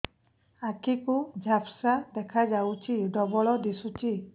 ଆଖି କୁ ଝାପ୍ସା ଦେଖାଯାଉଛି ଡବଳ ଦିଶୁଚି